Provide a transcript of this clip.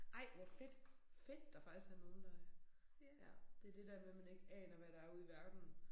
Ej hvor fedt. Fedt der faktisk er nogen der øh. Ja det det der med man ikke aner hvad der ude i verden